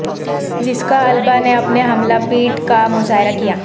Jessica Alba نے اپنے حاملہ پیٹ کا مظاہرہ کیا